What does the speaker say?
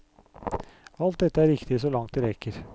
Alt dette er riktig så langt det rekker.